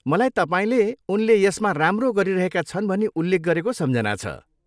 मलाई तपाईँले उनले यसमा राम्रो गरिरहेका छन् भनी उल्लेख गरेको सम्झना छ।